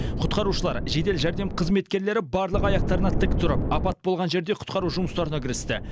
құтқарушылар жедел жәрдем қызметкерлері барлығы аяқтарына тік тұрып апат болған жерде құтқару жұмыстарына кірісті